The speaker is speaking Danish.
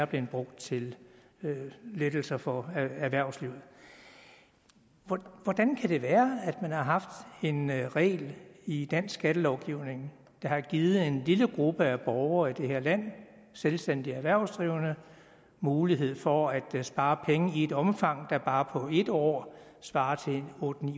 blevet brugt til lettelser for erhvervslivet hvordan kan det være at man har haft en regel i dansk skattelovgivning der har givet en lille gruppe af borgere i det her land selvstændige erhvervsdrivende mulighed for at spare penge i et omfang der bare på et år svarer til otte